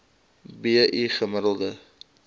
b i gemiddelde